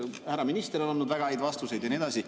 Härra minister on andnud väga häid vastuseid ja nii edasi.